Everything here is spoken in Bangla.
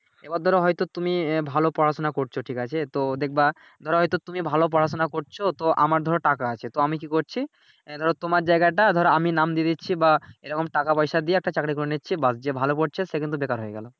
এইবার ধরো হয়তো তুমি আহ ভালো পড়াশুনা করছো ঠিক আছে তো দেখবা ধরো হয়তো তুমি ভালো পড়াশুনা করছো তো আমার ধরো টাকা আছে আমি কি করছি এহ ধরো তোমার জায়গাটা ধরো আমি নাম দিয়ে দিচ্ছি বা এইরকম টাকা পয়সা দিয়ে একটা চাকরি করে নিচ্ছি ব্যাস যে ভালো পড়ছে সে কিন্তু বেকার হয়ে গেলো।